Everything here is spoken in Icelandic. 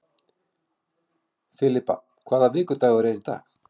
Filippa, hvaða vikudagur er í dag?